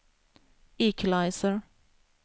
equalizer